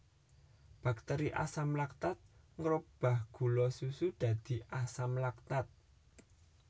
Bakteri Asam laktat ngrobah gula susu dadi asam laktat